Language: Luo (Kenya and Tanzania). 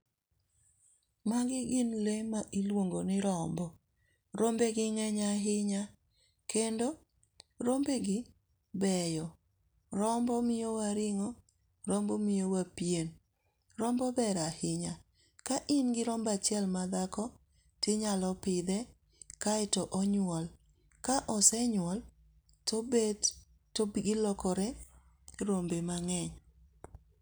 Magi gin lee ma iluongo ni rombo, rombegi ng'eny ahinya, kendo rombegi beyo, rombo miyoya ring'o rombo miyowa pien, rombo ber ahinya ka ingi rombo achiel madhako tinyalo pithe kaeto onyuol, ka osenyuol obet topgi lokore rombe mang'eny